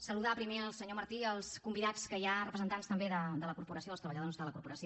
saludar primer el senyor martí i els convidats que hi ha representants també de la corporació dels treballadors de la corporació